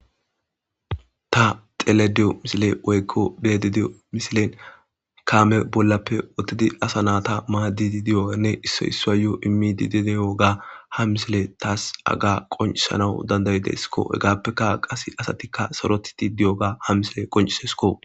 Ta telediyo misile woykko beedi diyo misilen kaame bollappe ottidi asa naata maadidi diyoanne issoy issaayoo immi didideyoga hamisile taas aga qoncisanawu dandayi deskko hegaappeka qase asatikka sorotiti diyoga hamisile qoncisesko.